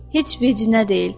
Heç vecinə deyil.